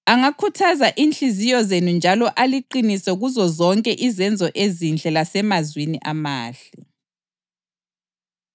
angakhuthaza inhliziyo zenu njalo aliqinise kuzozonke izenzo ezinhle lasemazwini amahle.